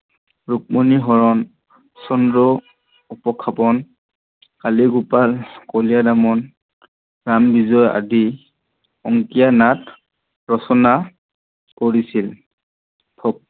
ৰুক্মিণী হৰণ, চন্দ্ৰ উপখাপন, কালিগোপাল, কলিয়াদমন, প্ৰানবিজয় অংকীয়ানাট আদি ৰচনা কৰিছিল